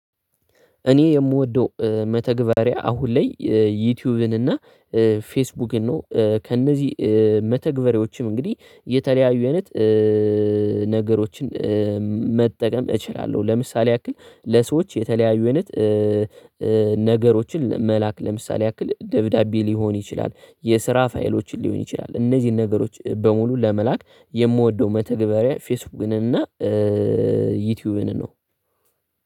እኔ የምወደው መተግበሪያ አሁን ላይ ዩቲዩብን እና ፌስቡክን ነው ከእነዚህ መተግበሬዎችም እንግዲህ የተለያዩ አይነት ነገሮችን መጠቀም እችላለሁ። ለምሳሌ ያክል ለሰዎች የተለያዩ አይነት ነገሮችን መላክ ለምሳሌ ያክል ደብዳቤ ሊሆን ይችላል የስራ ፋይሎችን ሊሆን ይችላል። እነዚህን ነገሮች በሙሉ ለመላክ የምወደው መተግበሪያ ፌስቡክን እና ዩቲዩብን ነው።